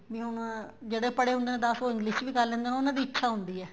ਵੀ ਹੁਣ ਜਿਹੜੇ ਪੜੇ ਹੁੰਦੇ ਨੇ ਦੱਸ ਉਹ English ਚ ਵੀ ਕਰ ਲੈਂਦੇ ਨੇ ਉਹਨਾ ਦੀ ਇੱਛਾ ਹੁੰਦੀ ਏ